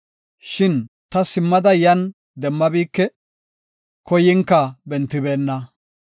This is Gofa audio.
Shin ta simmada yan demmabike; koyinka bentibeenna.